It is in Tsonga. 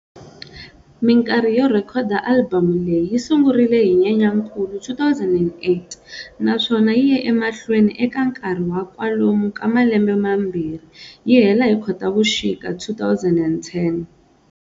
Minkarhi yo rhekhoda alibamu leyi yi sungurile hi Nyenyankulu 2008 naswona yi ye emahlweni eka nkarhi wa kwalomu ka malembe mambirhi, yi hela hi Khotavuxika 2010.